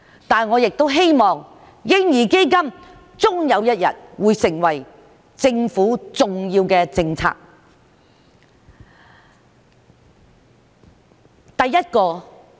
但是，我也希望嬰兒基金終有一日會成為政府重要的政策。